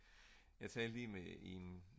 jeg talte lige med en